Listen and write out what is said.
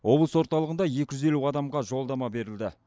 облыс орталығында екі жүз елу адамға жолдама берілді